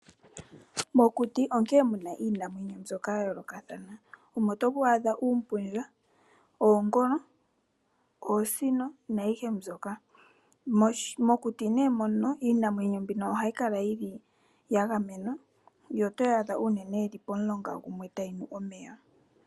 Mokuti onkene natango muna iinamwenyo mbyoka yayoolokathana ngaashi: oompundja, oongolo, oosino na yikwawo oyindji. Iinamwenyo oyo tuu mbika ohayi kala ya gamenwa mokuti.